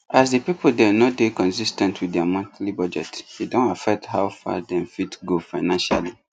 as the people dem no dey consis ten t with their monthly budget e don affect how far dem fit go financially